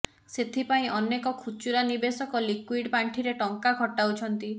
ସେଥିପାଇଁ ଅନେକ ଖୁଚୁରା ନିବେଶକ ଲିକ୍ବିଡିଟି ପାଣ୍ଠିରେ ଟଙ୍କା ଖଟାଉଛନ୍ତି